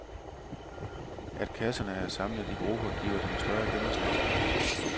At kasserne er samlet i grupper, giver dem større gennemslagskraft.